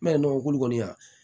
Ne ye nɔgɔ kolo kɔni yan